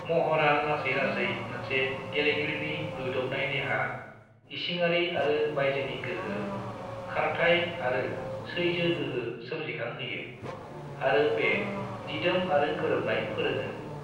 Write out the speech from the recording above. महरआ लासै-लासै मोनसे गेलेगिरिनि रुयदबनाय देहा, इसिङारि आरो बायजोनि गोहो, खारथाइ आरो सैजोगोहो सोमजिखांहोयो, आरो बे दिदोम आरो गोरोबनाय फोरोङो।